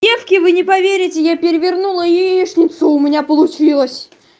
девки вы не поверите я перевернула яичницу у меня получилось